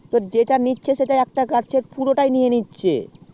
যেটা নিচ্ছে সেটা একটা গাছের পুরো নিয়ে নিচ্ছে